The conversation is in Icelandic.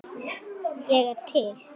Ég er til.